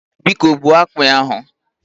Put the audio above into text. Biko gbuo akpị ahụ